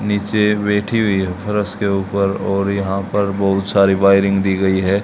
नीचे बैठी हुई है और उसके ऊपर और यहां पर बहुत सारी वायरिंग दी गई है।